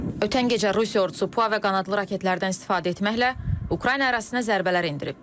Ötən gecə Rusiya ordusu PUA və qanadlı raketlərdən istifadə etməklə Ukrayna ərazisinə zərbələr endirib.